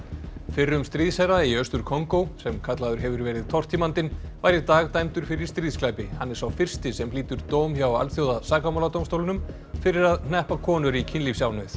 fyrrum stríðsherra í Austur Kongó sem kallaður hefur verið tortímandinn var í dag dæmdur fyrir stríðsglæpi hann er sá fyrsti sem hlýtur dóm hjá Alþjóðasakamáladómstólnum fyrir að hneppa konur í kynlífsánauð